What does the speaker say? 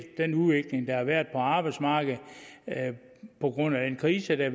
den udvikling der har været på arbejdsmarkedet på grund af den krise der